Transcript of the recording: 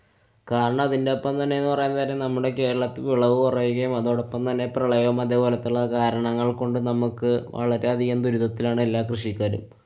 കാരണം അതിന്‍ടെ ഒപ്പം തന്നെ പറയാന്‍ കാര്യം നമ്മുടെ കേരളത്തു വിളവു കുറയുകയും അതോടൊപ്പം തന്നെ പ്രളയവുംഅതേ പോലത്തുള്ള കാരണങ്ങള്‍ കൊണ്ട് നമ്മുക്ക് വളരെയധികം ദുരിതത്തിലാണ് എല്ലാ കൃഷിക്കാരും.